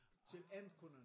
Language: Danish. Til alle kunderne